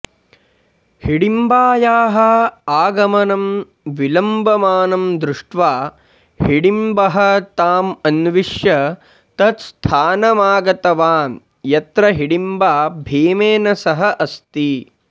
हिडिम्बायाः आगमनं विलम्बमानं दृष्ट्वा हिडिम्बः ताम् अन्विष्य तत् स्थानमागतवान् यत्र हिडिम्बा भीमेन सह अस्ति